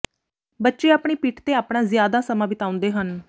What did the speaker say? ਬੱਚੇ ਆਪਣੀ ਪਿੱਠ ਤੇ ਆਪਣਾ ਜ਼ਿਆਦਾ ਸਮਾਂ ਬਿਤਾਉਂਦੇ ਹਨ